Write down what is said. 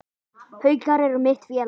Haukar eru mitt félag.